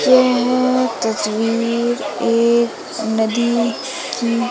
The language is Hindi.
यह तस्वीर एक नदी की--